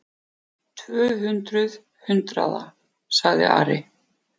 Tvö hundruð hundraða, sagði Ari.